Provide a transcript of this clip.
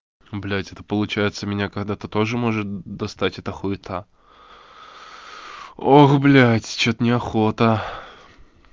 блять это получается меня когда-то тоже может достать эта хуета ох блядь что-то неохота